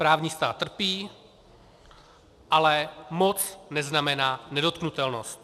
Právní stát trpí, ale moc neznamená nedotknutelnost.